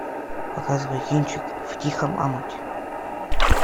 показывай кинчик в тихом омуте